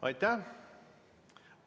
Aitäh!